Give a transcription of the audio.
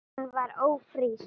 Hún var ófrísk.